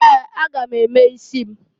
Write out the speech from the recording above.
Ee! A ga m eme isi m.